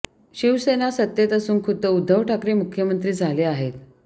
शिवसेना सत्तेत असून खुद्द उद्धव ठाकरे मुख्यमंत्री झाले आहेत